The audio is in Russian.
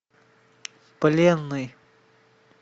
пленный